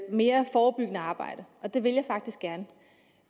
mere forebyggende arbejde og det vil jeg faktisk gerne